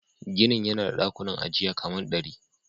Ginin yana da dakunan ajiya kaman dari.